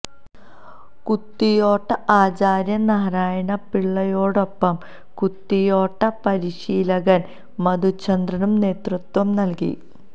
കുത്തിയോട്ട ആചാര്യൻ നാരായണ പിള്ളയോടൊപ്പം കുത്തിയോട്ട പരിശീലകൻ മധുചന്ദ്രനും നേതൃത്വം നൽകി